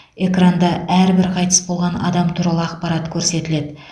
экранда әрбір қайтыс болған адам туралы ақпарат көрсетіледі